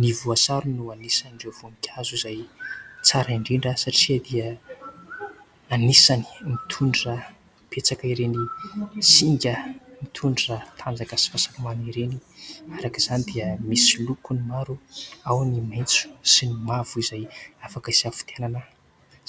Ny voasary no anisan'ireo voankazo izay tsara indrindra satria dia anisany mitondra betsaka ireny singa mitondra tanjaka sy fahasalamana ireny. Araka izany dia misy lokony maro, ao ny maitso sy ny mavo izay afaka hisafidianana.